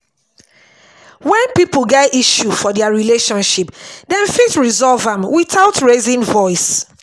when pipo get issue for their relationship dem fit resolve am without raising voice